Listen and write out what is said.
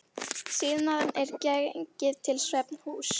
Síðan er gengið til svefnhúss.